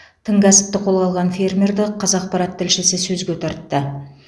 тың кәсіпті қолға алған фермерді қазақпарат тілшісі сөзге тартты